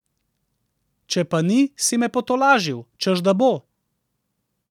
Če pa ni, si me potolažil, češ da bo.